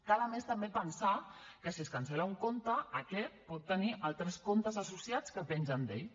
cal a més també pensar que si es cancel·la un compte aquest pot tenir altres comptes associats que pengen d’ell